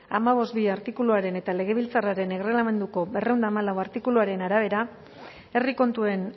hamabost puntu bi artikuluaren eta legebiltzarraren erregelamenduko berrehun eta hamalau artikuluaren arabera herri kontuen